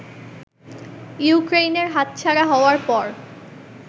ইউক্রেইনের হাতছাড়া হওয়ার পর